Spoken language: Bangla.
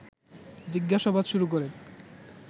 জিজ্ঞাসাবাদ শুরু করেন